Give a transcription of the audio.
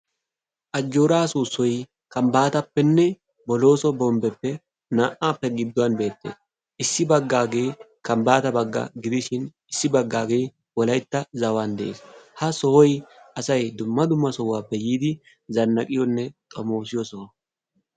Ajjooraa soossayi kambaatappenne bolooso bombbeppe naa"appe gidduwan beettes. Issi baggaage kambbaata bagga gidishin issi baggaagee wolaytta zawan de"es ha sohoyi asayi dumma dumma sohuwappe yiidi zannaqiyonne xomoosiyo soho.